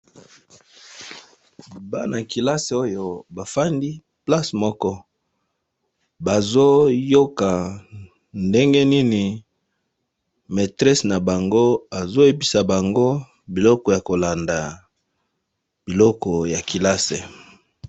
Bana kelasi oyo bafandi place moko, bazoyoka ndenge nini maîtresse na bango azoyebisa bango biloko ya kolanda biloko ya kelasi.